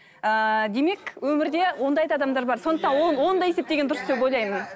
ыыы демек өмірде ондай да адамдар бар сондықтан оны да есептеген дұрыс деп ойлаймын